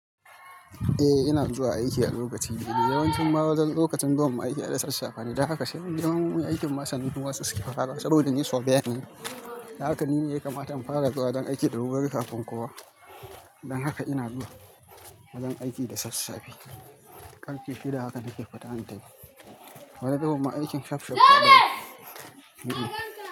Eh ina zuwa aiki a lokaci daidai, yawancin ma lokacin zuwan mu aiki aida sassafe ne. Dan haka sai mun je ma aikin ma sannan kowa susuke farawa saboda ni surveyor ne. Dan haka nine yakamata in fara zuwa wajen aiki da wurwuri kafin kowa. Don haka ina zuwa wajen aiki da sassafe. Karfe shida hakan nake fita in tafi. Wani zubin ma aikin safsaf na keyi.